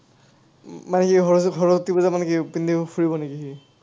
ঘৰৰ ওচৰত ফুৰিব যাব নেকি সি?